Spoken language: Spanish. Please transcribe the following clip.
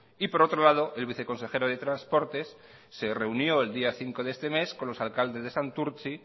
y por otro lado el viceconsejero de transportes se reunió el día cinco de este mes con los alcaldes de santurtzi